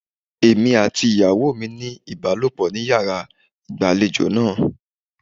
Èmi àti ìyàwó mi ní ìbálòpọ̀ ní yàrá ìgbàlejò náà.